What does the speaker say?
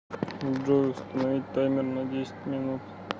джой установить таймер на десять минут